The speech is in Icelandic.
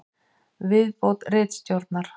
Viðbót ritstjórnar: